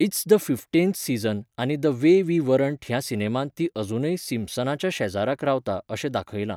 It's the fifteenth season आनी the way we weren't ह्या सिनेमांत ती अजूनय सिम्पसनाच्या शेजाराक रावता अशें दाखयलां.